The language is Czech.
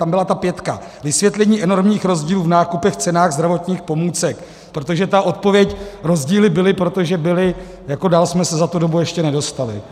Tam byla ta pětka - vysvětlení enormních rozdílů v nákupech, cenách zdravotních pomůcek, protože ta odpověď: rozdíly byly, protože byly, jako dál jsme se za tu dobu ještě nedostali.